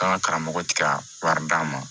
An ka karamɔgɔ tɛ ka wari d'an ma